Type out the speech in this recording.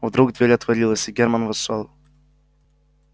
вдруг дверь отворилась и германн вошёл